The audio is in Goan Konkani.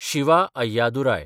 शिवा अय्यादुराय